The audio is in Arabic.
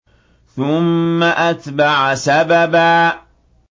ثُمَّ أَتْبَعَ سَبَبًا